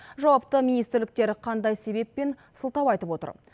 жауапты министрліктер қандай себеп пен сылтау айтып отыр